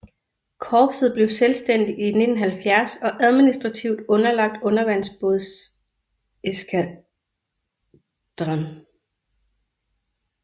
Korpset blev selvstændigt i 1970 og administrativt underlagt undervandsbådseskadren